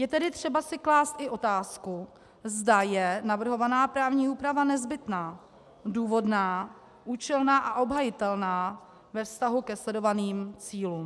Je tedy třeba si klást i otázku, zda je navrhovaná právní úprava nezbytná, důvodná, účelná a obhajitelná ve vztahu ke sledovaným cílům.